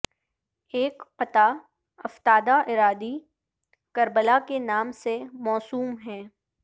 ایک قطعہ افتادہ اراضی کربلا کے نام سے موسوم ہے